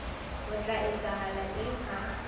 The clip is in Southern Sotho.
ho tla etsahala eng ha